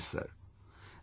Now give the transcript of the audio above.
We explain this Sir